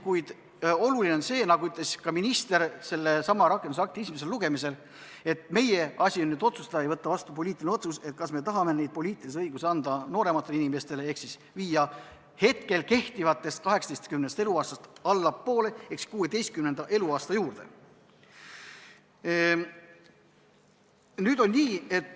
Kuid oluline on see, nagu ütles ka minister sellesama rakendusakti esimesel lugemisel, et meie asi on otsustada ja võtta vastu poliitiline otsus, kas me tahame anda neid poliitilisi õigusi noorematele inimestele ehk siis nihutada vanusepiiri hetkel kehtivast 18. eluaastast allapoole, 16. eluaasta juurde.